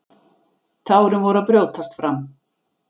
Tárin voru að brjótast fram.